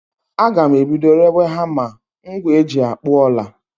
Agam ebido rewe hama, ngwa eji akpụ ọla